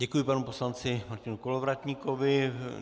Děkuji panu poslanci Martinu Kolovratníkovi.